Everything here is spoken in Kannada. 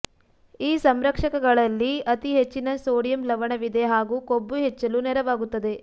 ಈ ಸಂರಕ್ಷಕಗಳಲ್ಲಿ ಅತಿ ಹೆಚ್ಚಿನ ಸೋಡಿಯಂ ಲವಣವಿದೆ ಹಾಗೂ ಕೊಬ್ಬು ಹೆಚ್ಚಲು ನೆರವಾಗುತ್ತದೆ